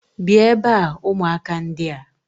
bia ebe a, umuaka ndia!